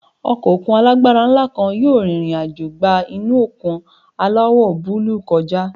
Ọkọ̀ òkun alágbára ńlá kan yóò rìnrìn àjò gba inú òkun aláwọ̀ búlúù kọjá.